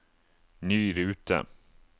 ny rute